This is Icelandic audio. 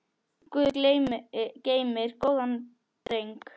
Guð geymir góðan dreng.